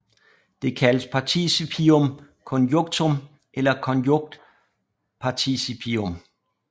Det kaldes participium conjunctum eller konjunktparticipium